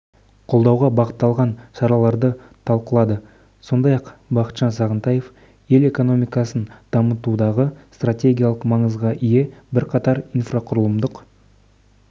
қолдауға бағытталған шараларды талқылады сондай-ақ бақытжан сағынтаев ел экономикасын дамытудағы стратегиялық маңызға ие бірқатар инфрақұрылымдық